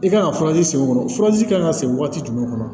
I kan ka furaji sen o furaji kan ka se wagati jumɛn kɔnɔ